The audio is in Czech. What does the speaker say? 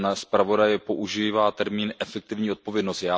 Pan zpravodaj používá termín efektivní odpovědnost.